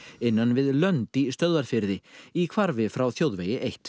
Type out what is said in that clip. innan við lönd í Stöðvarfirði í hvarfi frá þjóðvegi eitt